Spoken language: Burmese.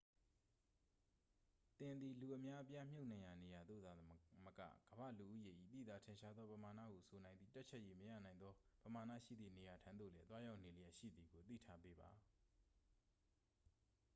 သင်သည် လူအများအပြားမြှုပ်နှံရာနေရာသို့သာမက ကမ္ဘာလူဦးရေ၏ သိသာထင်ရှားသောပမာဏဟုဆိုနိုင်သည့် တွက်ချက်၍မရနိုင်လောက်သောပမာဏရှိသည့်နေရာထံသို့လည်း သွားရောက်နေလျှက်ရှိသည်ကို သိထားပေးပါ